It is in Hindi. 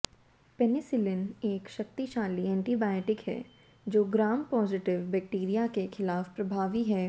पेनिसिलिन एक शक्तिशाली एंटीबायोटिक है जो ग्राम पॉजिटिव बैक्टीरिया के खिलाफ प्रभावी है